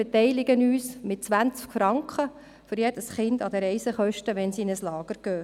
Wir beteiligen uns mit 20 Franken für jedes Kind an den Reisekosten, wenn sie in ein Lager gehen.